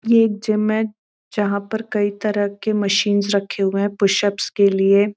ये एक जिम है जहाँ पर कई तरह के मशीनस रखे हुए हैं पुशप के लिए।